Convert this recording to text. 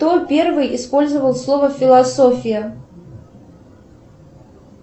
кто первый использовал слово философия